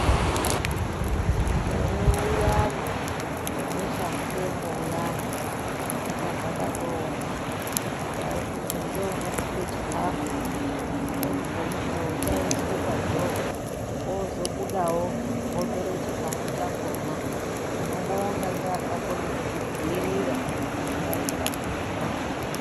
Mukore uyani, webeshamupengo uyani, inga zvakatooma, waiiti ngeunokupe chikhafu, dzimweni dzemukuwo chaiiswe padhoo. Wozobudawo wotore chikhafu chakhona. Tinobonga ngeakakone kuzvidziirira, denda rikapora.